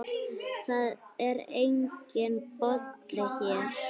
Það er enginn Bolli hér.